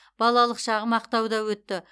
балалық шағым ақтауда өтті